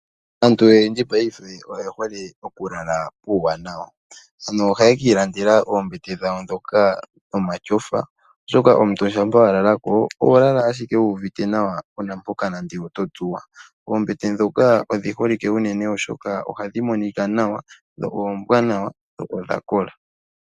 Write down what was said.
Aantu oyendji mopayife oye hole okulala puuwanawa, ano ohaye kiilandela oombete dhawo dhoka dhomatyofa oshoka omuntu ngele wakalako oho lala ashike wuuvite nawa kuuna mpoka totsuwa. Oombete dhoka odhi holikwe unene, oshoka ohadhi monikwa nawa dho oombwanawa nodha kola.